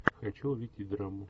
хочу увидеть драму